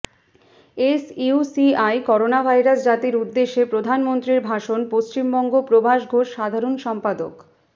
SUCI corona virus জাতির উদ্দেশ্যে প্রধানমন্ত্রীর ভাষণ পশ্চিমবঙ্গ প্রভাস ঘোষ সাধারণ সম্পাদক